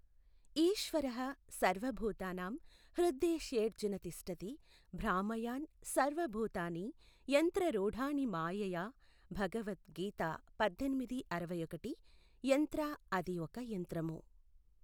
ఈశ్వరః సర్వ భూతానాం హృద్దేశేఽర్జున తిష్ఠతి భ్రామయాన్ సర్వ భూతాని యంత్రరూఢాని మాయయా, భగవత్ గీత పద్దెనిమిది అరవైఒకటి. యంత్ర అది ఒక యంత్రము.